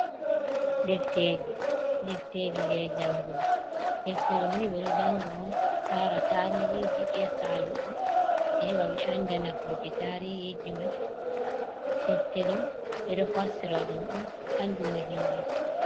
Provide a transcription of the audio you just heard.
Defteji: Defteji je jangugo. Deftere do ni ɓedo janga on lara tarihiji je Saluɗi heɓa ɓe anda nafoje tarihiji mai. Defte ɗo ɓe ɗo fassira ɗum on andina himɓe.